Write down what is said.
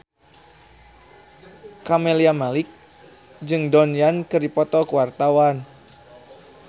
Camelia Malik jeung Donnie Yan keur dipoto ku wartawan